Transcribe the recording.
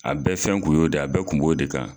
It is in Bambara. A bɛɛ fɛn kun y'o de ye a bɛɛ kun b'o de kan.